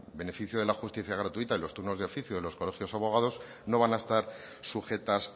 beneficio de la justicia gratuita y los turnos de oficio de los colegios de abogados no van a estar sujetas